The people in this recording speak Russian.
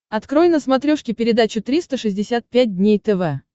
открой на смотрешке передачу триста шестьдесят пять дней тв